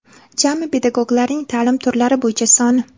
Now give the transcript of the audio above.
Jami pedagoglarning taʼlim turlari bo‘yicha soni:.